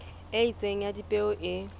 e itseng ya dipeo e